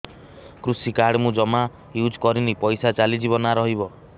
କୃଷି କାର୍ଡ ମୁଁ ଜମା ୟୁଜ଼ କରିନି ପଇସା ଚାଲିଯିବ ନା ରହିବ